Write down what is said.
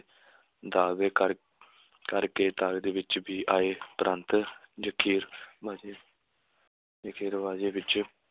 ਦਾਅਵੇ ਕਰ ਕਰ ਕੇ ਤਾਕਤ ਵਿਚ ਵੀ ਆਏ ਉਪਰੰਤ ਬਾਜੀ ਜਖੀਰੇਬਾਜੀ ਵਿੱਚ